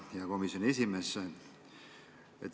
Hea komisjoni esimees!